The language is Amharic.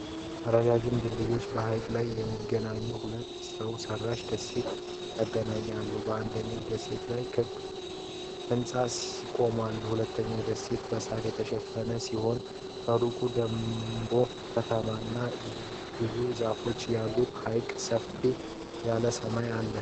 ረጃጅም ድልድዮች በሐይቅ ላይ የሚገኙ ሁለት ሰው ሰራሽ ደሴቶችን ያገናኛሉ። በአንደኛው ደሴት ላይ ክብ ህንጻ ቆሟል። ሁለተኛው ደሴት በሳር የተሸፈነ ሲሆን፣ ከሩቅ ደግሞ ከተማና ብዙ ዛፎች አሉ። ሐይቁ ሰፋ ያለና ሰማያዊ ነው።